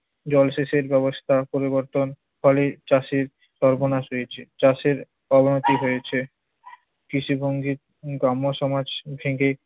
জলসেচের ব্যবস্থা পরিবর্তন ফলে চাষীর সর্বনাশ হয়েছে। চাষের অবনতি হয়েছে, কৃষিভঙ্গির গ্রাম্য সমাজ থেকে